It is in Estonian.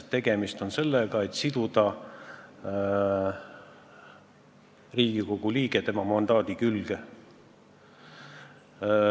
Tegemist on sellega, et tahetakse siduda Riigikogu liige tema mandaadi külge.